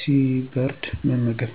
ሲበርድ መመገብ።